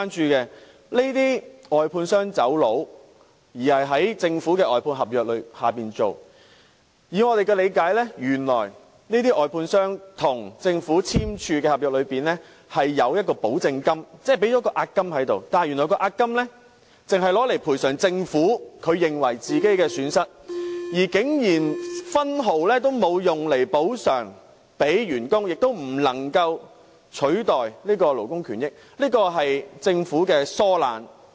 這些已捲逃的外判商與政府簽訂了外判合約，而據我們的理解，合約裏有一項保證金，即外判商已交付了押金，但原來這押金只會用來賠償政府的損失，竟然分毫不會用來補償給員工，亦不能夠用來取代勞工權益，這是政府的疏懶。